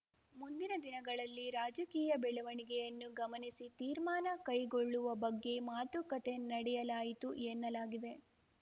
ಮುಂದಿನ ದಿನಗಳಲ್ಲಿ ರಾಜಕೀಯ ಬೆಳವಣಿಗೆಯನ್ನು ಗಮನಿಸಿ ತೀರ್ಮಾನ ಕೈಗೊಳ್ಳುವ ಬಗ್ಗೆ ಮಾತುಕತೆ ನಡೆಯಲಾಯಿತು ಎನ್ನಲಾಗಿದೆ